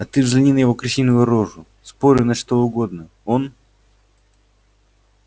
да ты взгляни на его крысиную рожу спорю на что угодно он